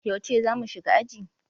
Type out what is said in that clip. Yauce za mu shiga aji?